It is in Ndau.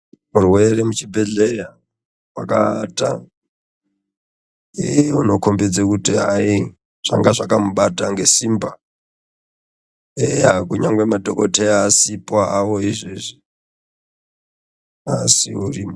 Rwere muchibhedhleya wakaata unokhombedze kuti hai zvanga zvakamubata ngesimba eya kunyange hawo madhokodheya asipo hawo izvezvi asi uri.